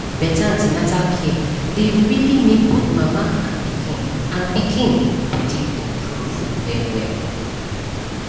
better an ten atal care dey really make both mama and pikin mama and pikin body improve well well